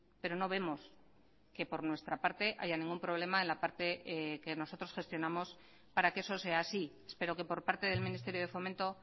pero no vemos que por nuestra parte haya ningún problema en la parte que nosotros gestionamos para que eso sea así espero que por parte del ministerio de fomento